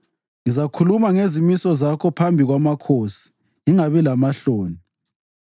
Ngizakhuluma ngezimiso zakho phambi kwamakhosi ngingabi lamahloni,